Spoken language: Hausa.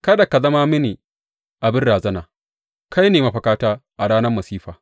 Kada ka zama mini abin razana; kai ne mafakata a ranar masifa.